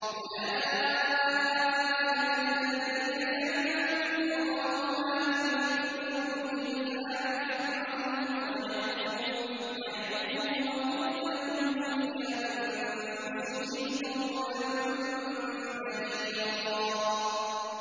أُولَٰئِكَ الَّذِينَ يَعْلَمُ اللَّهُ مَا فِي قُلُوبِهِمْ فَأَعْرِضْ عَنْهُمْ وَعِظْهُمْ وَقُل لَّهُمْ فِي أَنفُسِهِمْ قَوْلًا بَلِيغًا